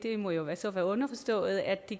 må jo så være underforstået at det